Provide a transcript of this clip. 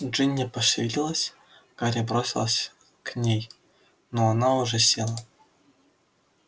джинни пошевелилась гарри бросился к ней но она уже села